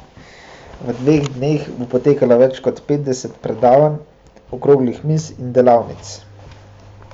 V dveh dneh bo potekalo več kot petdeset predavanj, okroglih miz in delavnic.